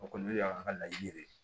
O kɔni o y'an ka laɲini de ye